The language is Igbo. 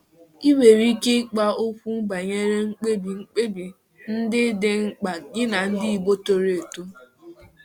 Ị nwere ike ịkpa okwu banyere mkpebi mkpebi ndị dị mkpa gị na ndị Igbo toro eto.